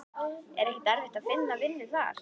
Er ekki erfitt að finna vinnu þar?